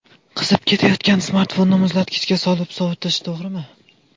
Qizib ketayotgan smartfonni muzlatgichga solib sovutish to‘g‘rimi?.